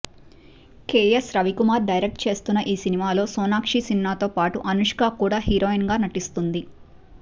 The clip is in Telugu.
కెఎస్ రవికుమార్ డైరెక్ట్ చేస్తున్న ఈ సినిమాలో సోనాక్షి సిన్హాతో పాటు అనుష్క కూడా హీరోయిన్ గా నటిస్తోంది